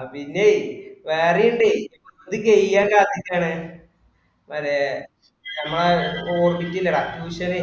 അതിന്റയെ വേറെയി ണ്ട് ഇത് കയ്യാൻ കാത്തിക്കണാണ് മറ്റേ നമ്മ ഓർബിക് ഇല്ലെടാ tuition ന്